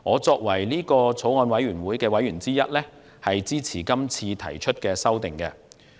作為法案委員會的委員之一，我支持這次修訂。